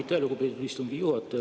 Aitäh, lugupeetud istungi juhataja!